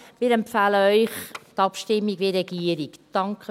Wir empfehlen Ihnen die Abstimmung wie die Regierung.